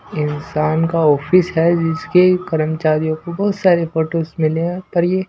इंसान का ऑफिस है जिसके कर्मचारियों को बहुत सारे फोटोस मिले हैं पर ये--